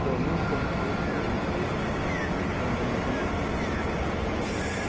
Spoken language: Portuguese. que é o mesmo tom do pife, a mesma coisa, o tom de uma é de outro.